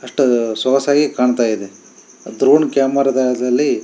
ಅಸ್ತ್ ಅದು ಸೋಗಸಾಗಿ ಕಾಂತಾ ಇದೆ ಡ್ರೋನ್ ಕ್ಯಾಮೆರಾದಲ್ಲಿ --